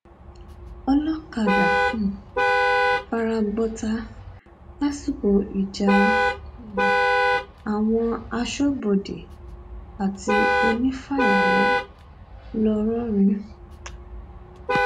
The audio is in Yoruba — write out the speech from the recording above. olọkadà um fara gbọta lásìkò ìjà um àwọn aṣọbodè àti onífàyàwọ ńlọrọrìn